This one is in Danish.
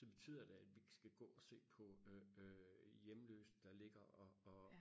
så betyder det at vi ikke skal gå og se på øh øh hjemløse der ligger og og